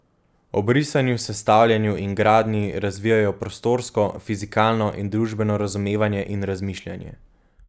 Ob risanju, sestavljanju in gradnji razvijajo prostorsko, fizikalno in družbeno razumevanje in razmišljanje.